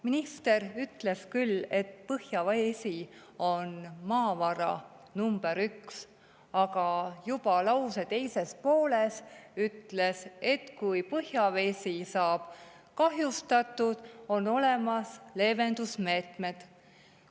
Minister ütles küll, et põhjavesi on maavara number üks, aga juba lause teises pooles ütles, et kui põhjavesi saab kahjustatud, on olemas leevendusmeetmed.